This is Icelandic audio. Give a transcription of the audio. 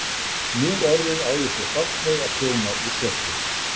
Nú orðið á ég svo bágt með að prjóna úr svörtu.